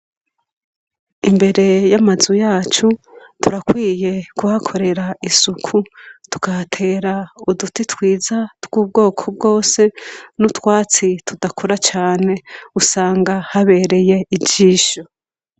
Imbere y'amazu yacu turakwiye kuhakorera isuku .Tukahatera uduti twiza tw'ubwoko bwose n'utwatsi tudakora cane usanga habereye ijisho.